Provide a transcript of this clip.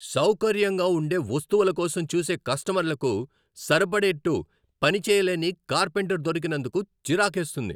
సౌకర్యంగా ఉండే వస్తువుల కోసం చూసే కస్టమర్లకు సరిపడేట్టు పనిచేయలేని కార్పెంటర్ దొరికినందుకు చిరాకేస్తుంది.